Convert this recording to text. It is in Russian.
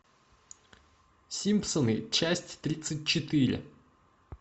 симпсоны часть тридцать четыре